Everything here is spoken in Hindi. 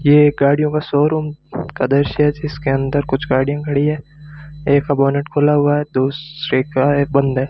ये एक गाड़ियों का शोरूम का दृश्य है जिसके अंदर कुछ गाड़ियां खड़ी है एक बोनट खुला हुआ है दूसरे का ये बंद है।